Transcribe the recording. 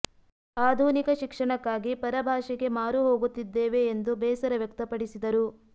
ಆಧುನಿಕ ಶಿಕ್ಷಣಕ್ಕಾಗಿ ಪರ ಭಾಷೆಗೆ ಮಾರು ಹೋಗುತ್ತಿದ್ದೇವೆ ಎಂದು ಬೇಸರ ವ್ಯಕ್ತಪಡಿಸಿದರು